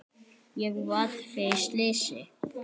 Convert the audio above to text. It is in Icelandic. Ég varð fyrir slysi,